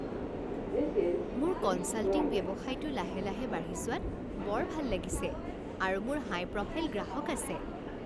মোৰ কনছাল্টিং ব্যৱসায়টো লাহে লাহে বাঢ়ি যোৱাত বৰ ভাল লাগিছে আৰু মোৰ হাই প্ৰফাইল গ্ৰাহক আছে।